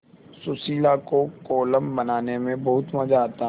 सुशीला को कोलम बनाने में बहुत मज़ा आता